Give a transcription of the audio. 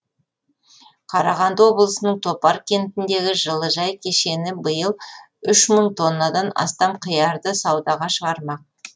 қарағанды облысының топар кентіндегі жылыжай кешені биыл үш мың тоннадан астам қиярды саудаға шығармақ